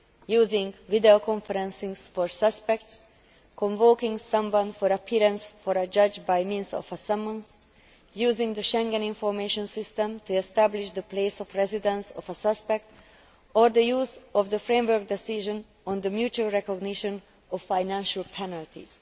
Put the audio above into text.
using video conferencing for suspects, convoking someone for appearance before a judge by means of a summons, using the Schengen Information System to establish the place of residence of a suspect, or the use of the framework decision on the mutual recognition of financial penalties.